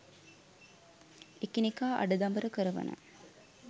එකිනෙකා අඬදබර කරවන